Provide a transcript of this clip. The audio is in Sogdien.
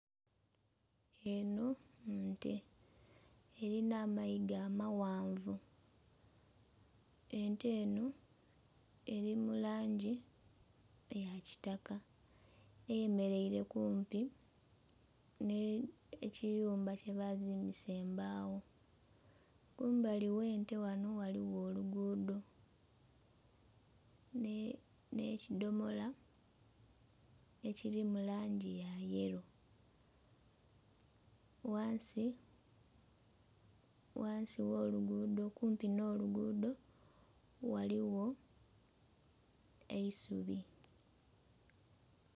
Eno nte erina amayiga amaghanvu, ente eno eri mu langi eya kitaka eyemeleire kumpi n'ekiyumba kyebazimbisa embawo. Kumbali gh'ente ghano ghaligho oluguudo n'ekidhomola ekiri mu langi ya yelo, ghansi gh'oluguudo kumpi n'oluguudo ghaligho eisubi.